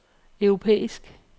europæisk